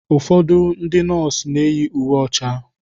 Ụfọdụ ndị nọọsụ na-eyi uwe ọcha.